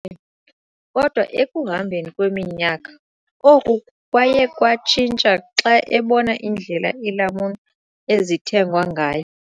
Kodwa ekuhambeni kweminyaka, oku kwaye kwatshintsha xa ebona indlela iilamuni ezithengwa ngayo.